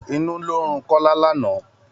Inú ló ń run Kọ́lá lánàá.